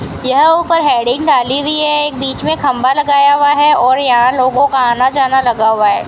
यह ऊपर हैडिंग डाली हुई है बीच में खंबा लगाया हुआ है और यहां लोगों का आना जाना लगा हुआ है।